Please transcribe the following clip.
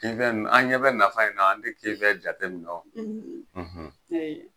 Izani an' ɲɛ bɛ nafa in na, an te kefɛn jate min dɔn.